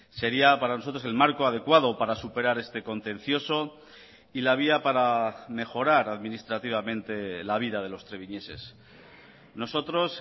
sería para nosotros el marco adecuado para superar este contencioso y la vía para mejorar administrativamente la vida de los treviñeses nosotros